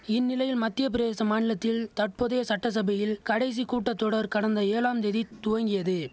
இந்நிலையில் மத்தியப்பிரேச மாநிலத்தில் தற்போதைய சட்டசபையில் கடைசி கூட்டத்தொடர் கடந்த ஏழாம் தேதி துவங்கியது